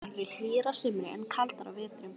Þær eru hlýjar að sumri en kaldar á vetrum.